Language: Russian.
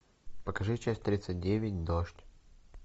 покажи часть тридцать девять дождь